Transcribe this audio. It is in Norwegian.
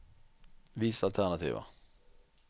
Vis alternativer